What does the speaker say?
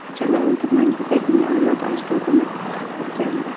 Jaloliddin Manguberdining avlod-u ajdodini o‘rgandi.